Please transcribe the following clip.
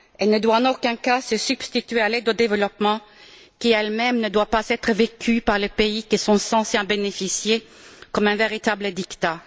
Elle ne doit en aucun cas se substituer à l'aide au développement qui, elle même, ne doit pas être vécue par les pays qui sont censés en bénéficier comme un véritable diktat.